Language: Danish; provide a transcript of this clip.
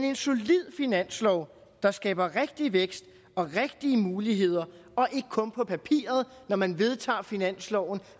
en solid finanslov der skaber rigtig vækst og rigtige muligheder og ikke kun på papiret når man vedtager finansloven